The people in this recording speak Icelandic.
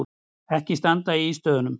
Ekki standa í ístöðunum!